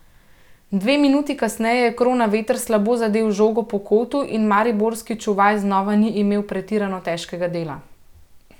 Dve minuti kasneje je Kronaveter slabo zadel žogo po kotu in mariborski čuvaj znova ni imel pretirano težkega dela.